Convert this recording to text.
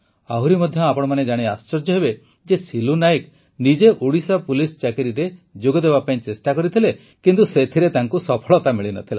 ଆହୁରି ମଧ୍ୟ ଆପଣମାନେ ଜାଣି ଆଶ୍ଚର୍ଯ୍ୟ ହେବେ ଯେ ସିଲୁ ନାଏକ ନିଜେ ଓଡ଼ିଶା ପୋଲିସ ଚାକିରିରେ ଯୋଗ ଦେବା ପାଇଁ ଚେଷ୍ଟା କରିଥିଲେ କିନ୍ତୁ ସେଥିରେ ତାଙ୍କୁ ସଫଳତା ମିଳି ନ ଥିଲା